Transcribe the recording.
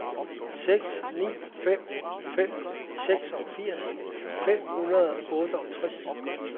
seks ni fem fem seksogfirs fem hundrede og otteogtres